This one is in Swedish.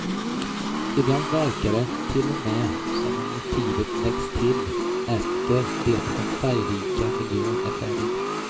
Ibland verkar det till och med som om motivet läggs till efter det att den färgrika miljön är färdig.